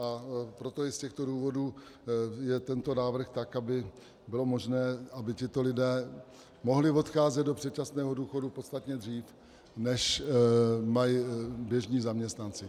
A proto, i z těchto důvodů je tento návrh tak, aby bylo možné, aby tito lidé mohli odcházet do předčasného důchodu podstatně dřív, než mají běžní zaměstnanci.